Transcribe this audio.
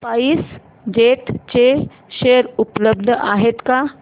spice jet चे share उपलब्ध आहेत का